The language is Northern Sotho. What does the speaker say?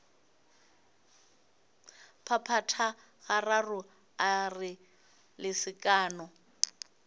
phaphatha gararo a re lesekana